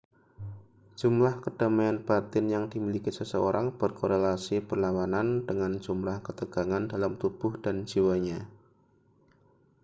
jumlah kedamaian batin yang dimiliki seseorang berkorelasi berlawanan dengan jumlah ketegangan dalam tubuh dan jiwanya